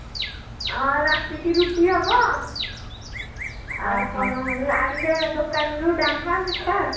ଆଁ ରାତିକି ରୁଟି ହବ ଆଉ କଣ ଆଣିବା ଦୋକାନରୁ ଡାଲମା ମିଠା